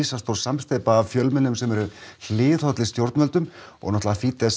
samsteypa af fjölmiðlum sem eru hliðhollir stjórnvöldum og